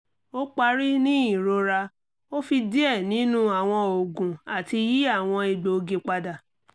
o pari ni irora o fi diẹ ninu awọn oogun ati yi awọn egboogi pada